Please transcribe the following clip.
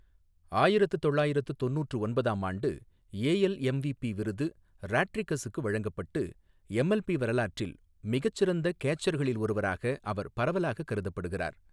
ஆயிரத்து தொள்ளாயிரத்து தொண்ணூற்று ஒன்பதாம்ஆண்டு ஏஎல் எம்விபி விருது ராட்ரிகஸுக்கு வழங்கப்பட்டு, எம்எல்பி வரலாற்றில் மிகச் சிறந்த கேச்சர்களில் ஒருவராக அவர் பரவலாக கருதப்படுகிறார்.